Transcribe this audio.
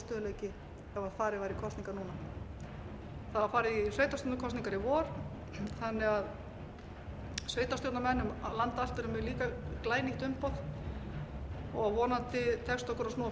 held að það yrði meiri óstöðugleiki ef farið yrði í kosningar núna það var farið í sveitarstjórnarkosningar í vor þannig að sveitarstjórnarmenn um land allt eru líka með glænýtt umboð og vonandi tekst okkur að snúa